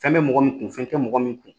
Fɛn bɛ mɔgɔ min kun, fɛn tɛ mɔgɔ min kun